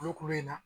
Kulukulu in na